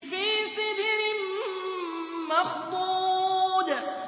فِي سِدْرٍ مَّخْضُودٍ